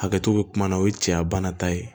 Hakɛto bɛ kuma na o ye cɛya bana ta ye